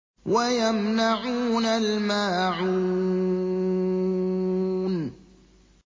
وَيَمْنَعُونَ الْمَاعُونَ